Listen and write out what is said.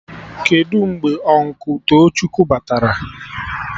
Kedụ mgbe Ụnkụ Tochukwu batara?